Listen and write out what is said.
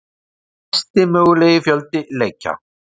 Hæsti mögulegi fjöldi leikja